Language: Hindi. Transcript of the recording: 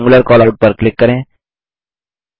रेक्टेंगुलर कैलआउट पर क्लिक करें